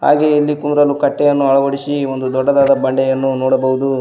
ಹಾಗೆ ಇಲ್ಲಿ ಕೂರಲು ಕಟ್ಟೆಯನ್ನು ಅಳವಡಿಸಿ ಒಂದು ದೊಡ್ಡದಾದ ಬಂಡೆಯನ್ನು ನೋಡಬಹುದು.